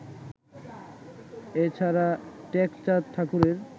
এ ছাড়া টেকচাঁদ ঠাকুরের